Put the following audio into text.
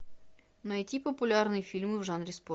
найти популярные фильмы в жанре спорт